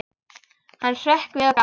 Hann hrökk við og gapti.